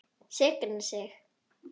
Signa sig?